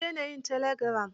Mun daina yin telegiram.